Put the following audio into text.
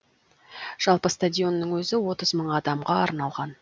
жалпы стадионның өзі отыз мың адамға арналған